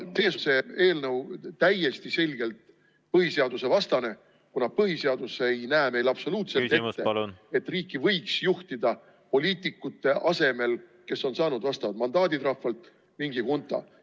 See eelnõu on täiesti selgelt põhiseadusevastane, kuna põhiseadus ei näe meil absoluutselt ette, et riiki võiks juhtida poliitikute asemel, kes on saanud vastava mandaadi rahvalt, mingi hunta.